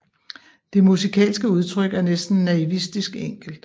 Det musikalske udtryk er næsten naivistisk enkelt